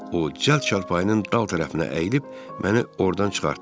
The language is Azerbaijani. O cəld çarpayının dal tərəfinə əyilib məni ordan çıxartdı.